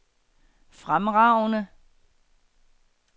fremragende